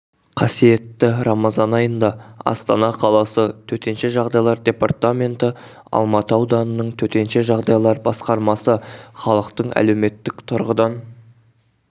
қасиетті рамазан айында астана қаласы төтенше жағдайлар департаменті алматы ауданының төтенше жағдайлар басқармасы халықтың әлеуметтік тұрғыдан